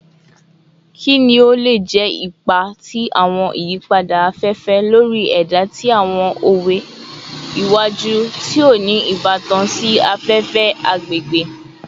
Kini o le jẹ ipa ti awọn iyipada afefe lori ẹda ti awọn owe iwaju ti o ni ibatan si afefe / agbegbe?